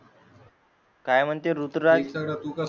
काय म्हणते ऋतुराज